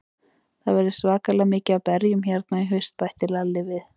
Það verður svakalega mikið af berjum hérna í haust, bætti Lalli við.